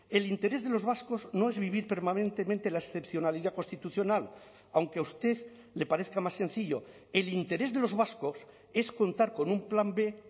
el interés de los vascos no es vivir permanentemente la excepcionalidad constitucional aunque a usted le parezca más sencillo el interés de los vascos es contar con un plan b